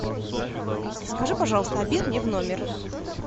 алиса закажи пожалуйста обед мне в номер